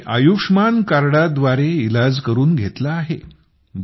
मी त्या आयुष्मान कार्डा द्वारे इलाज करून घेतला आहे